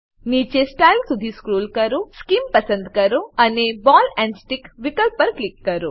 નીચે સ્ટાઇલ સુધી સ્ક્રોલ કરો સ્કીમ પસંદ કરો અને બૉલ એન્ડ સ્ટિક વિકલ્પ પર ક્લિક કરો